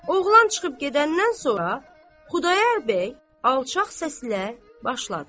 Oğlan çıxıb gedəndən sonra Xudayar bəy alçaq səslə başladı.